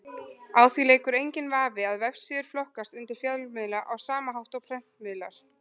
Á því leikur enginn vafi að vefsíður flokkast undir fjölmiðla á sama hátt og prentmiðlar.